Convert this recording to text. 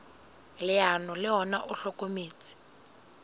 leano le ona o hlokometse